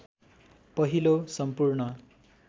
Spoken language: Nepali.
पहिलो सम्पूर्ण